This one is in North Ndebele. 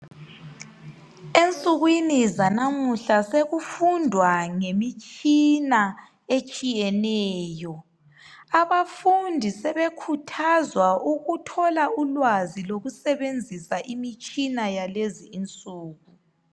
Ensukwini zanamuhla sekufundwa ngemitshina etshiyeneyo. Abafundi sebekhuthazwa ukuthola ulwazi lokusebenzisa imitshina yalezinsuku.